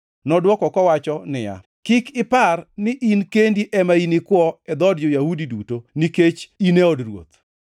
nodwoko kowacho niya, “Kik ipar ni in kendi ema inikwo e dhood jo-Yahudi duto nikech in e od ruoth.